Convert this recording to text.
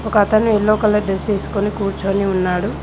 ఒక అతను yellow colour dress ఏసుకొని కూర్చోని ఉన్నాడు.